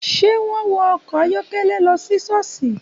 Ṣé wọ́n wọ ọkọ̀ ayọ́kẹ́lẹ́ lọ sí ṣọ́ọ̀ṣì?